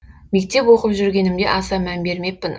мектеп оқып жүргенімде аса мән бермеппін